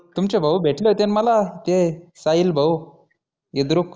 तुमचे भाऊ भेटले होते ना मला ते साहिल भाऊ इद्रुक